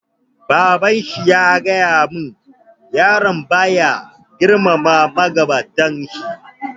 Baban shi ya gaya mun, yaron ba ya girmama magabatan shi